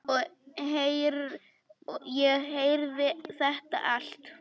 Ég heyrði þetta allt.